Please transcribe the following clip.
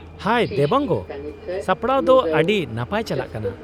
-ᱦᱟᱭ ᱫᱮᱵᱟᱝᱜᱚ! ᱥᱟᱯᱲᱟᱣ ᱫᱚ ᱟᱹᱰᱤ ᱱᱟᱯᱟᱭ ᱪᱟᱞᱟᱜ ᱠᱟᱱᱟ ᱾